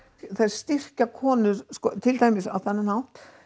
þær styrkja konur til dæmis á þennan hátt